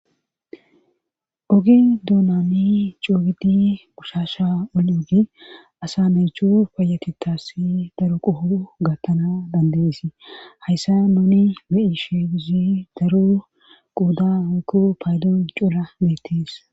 ogi duunani coogidi gushasha oli ogi asa naychu payatitassi daro qoho gattana dandeesi hayssa nuni be7i sheeduzi daro quuda hokku paydon cura beettis